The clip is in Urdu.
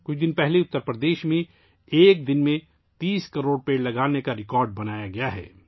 کچھ دن پہلے اتر پردیش میں ایک دن میں 30 کروڑ درخت لگانے کا ریکارڈ بنایا گیا ہے